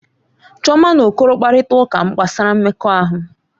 Chioma na Okoro kparịta ụka gbasara mmekọahụ.